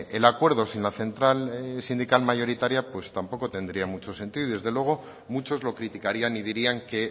el acuerdo sin la central sindical mayoritaria pues tampoco tendría mucho sentido y desde luego muchos lo criticarían y dirían que